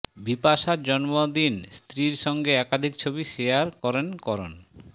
বিপাশার জন্মদিন স্ত্রীর সঙ্গে একাধিক ছবি শেয়ার করেন করণ